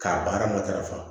K'a baara matarafa